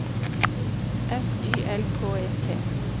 F Y L K E T